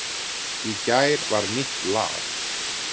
Í gær var nýtt lag